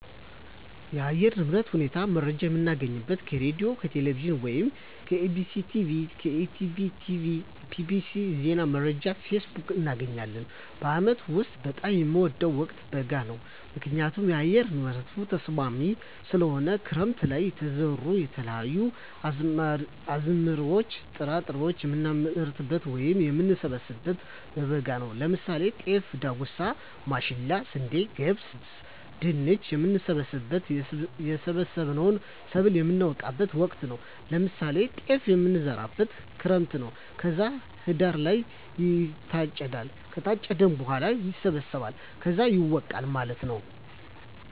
የአየር ንብረት ሁኔታ መረጃ የምናገኘው ከሬድዬ፣ ከቴሌቪዥን ወይም ከEBctv፣ ከETB tv፣ bbc፣ ዜና መረጃ፣ ፌስቡክ፣ እናገኛለን። በአመት ውስጥ በጣም የምወደው ወቅት በጋ ነው ምክንያቱም የአየር ንብረቱ ተስማሚ ስለሆነ፣ ክረምት ለይ የተዘሩ የተለያዩ አዝመራዎች ጥራጥሬዎችን የምናመርትበት ወይም የምንሰብበው በበጋ ነው ለምሳሌ ጤፍ፣ ዳጉሳ፣ ማሽላ፣ ስንዴ፣ ገብስ፣ ድንች፣ የምንሰበስብበት እና የሰበሰብነውን ሰብል የምነወቃበት ወቅት ነው ለምሳሌ ጤፍ የሚዘራው ክረምት ነው ከዛ ህዳር ላይ ይታጨዳል ከታጨደ በኋላ ይሰበሰባል ከዛ ይወቃል ማለት ነው።